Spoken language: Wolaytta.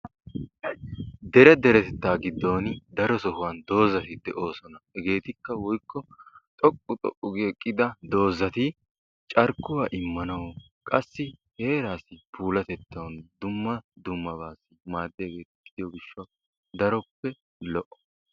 Dere deretettaa giddon daro sohuwan doozati de'oosona. Hegeetikka/xoqqu xoqqu gi eqqida doozati carkkuwa immanawu qassi heeraassi puulatettaa immanawu dumma ddummabaa naaddiyageeta gidiyo gishshatawu daroppe lo"o.